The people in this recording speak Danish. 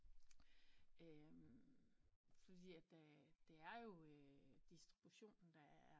Fordi at der det er jo distributionen der er